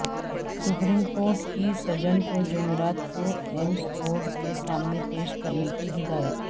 supreme court کی سجن کو جمعرات کو ایمس بورڈ کے سامنے پیش کرنے کی ہدایت